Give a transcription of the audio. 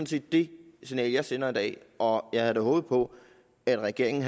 set det signal jeg sender i dag og jeg havde da håbet på at regeringen